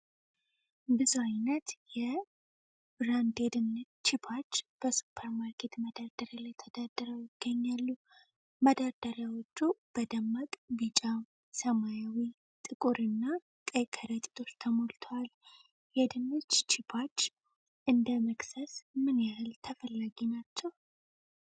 ብዙ ዓይነት የ"Lay's" ብራንድ የድንች ቺፖች በሱፐርማርኬት መደርደሪያ ላይ ተደርድረው ይገኛሉ። መደርደሪያዎቹ በደማቅ ቢጫ፣ ሰማያዊ፣ ጥቁርና ቀይ ከረጢቶች ተሞልተዋል። የድንች ቺፖች እንደ መክሰስ ምን ያህል ተፈላጊ ናቸው?